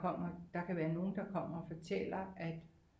Kommer der kan være nogle der kommer og fortæller at